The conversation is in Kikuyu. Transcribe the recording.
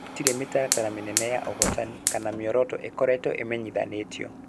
Gũtirĩ mĩtaratara mĩnene ya ũhotani kana mĩoroto ĩkoretwo ĩmenyithanĩtio